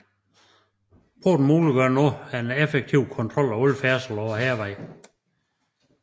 Porten muliggjorde dermed en effektiv kontrol af al færdsel på Hærvejen